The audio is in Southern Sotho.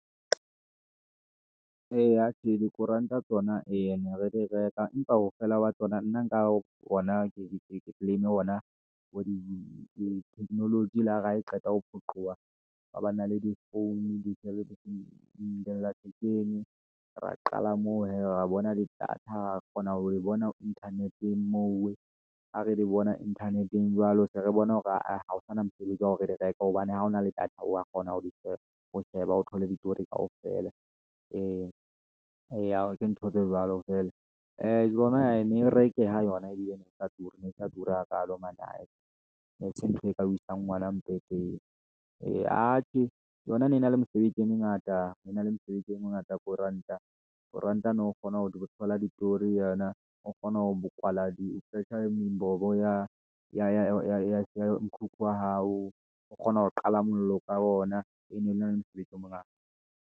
Eya tjhe, dikoranta tsona eya ne re di reka, empa ha feela wa tsona nna nka ona ke technology le hare ha e qeta ho phoqeha ha ba na le di-phone, di-celebrity ra qala moo hee ra bona le data ra kgona ho di bona Internet-eng moo ha re le bona Internet-eng jwalo, se re bona hore aa ha ho sana mosebetsi wa hore di reke, hobane ha hona le data wa kgona ho di sheba. O sheba o thole ditori kaofela, eya, o etse ntho tse jwalo feela, ee tsona e ne e rekeha yona ebile ena e sa ture ene sa ture hakaalo man ai. e ne ese ntho e ka o wesa ngwana eya atjhe yona e ne e na le mesebetsi e mengata e na le mesebetsi e mengata koranta. Koranta o no kgona ho thola ditori ho yona. O kgona ho kwala mbobo ya mokhukhu wa hao o kgona ho qala mollo ka ona. E ne le na le mosebetsi o mongata.